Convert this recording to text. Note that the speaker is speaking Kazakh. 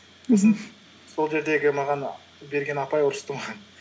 мхм сол жердегі маған берген апай ұрысты маған